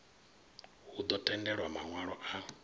hu ḓo tendelwa maṋwalo a